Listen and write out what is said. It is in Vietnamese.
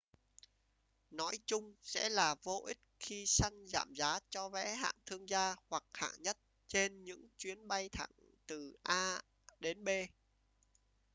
nói chung sẽ là vô ích khi săn giảm giá cho vé hạng thương gia hoặc hạng nhất trên những chuyến bay thẳng từ a đến b